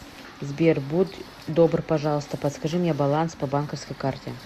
сбер будь добр пожалуйста подскажи мне баланс по банковской карте